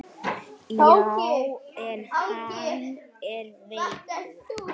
Já, en hann er veikur